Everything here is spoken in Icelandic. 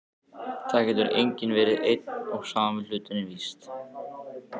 Það getur nú verið einn og sami hluturinn, víst.